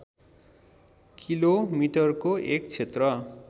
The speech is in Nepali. किलोमिटरको एक क्षेत्र